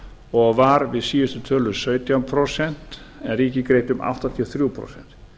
og var við síðustu tölur sautján prósent en ríkið greiddi um áttatíu og þrjú prósent